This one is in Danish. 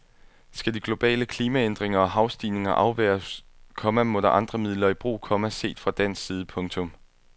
Skal de globale klimaændringer og havstigninger afværges, komma må der andre midler i brug, komma set fra dansk side. punktum